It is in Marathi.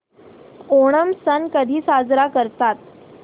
ओणम सण कधी साजरा करतात